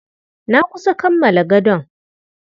Na kusa kammala gadon.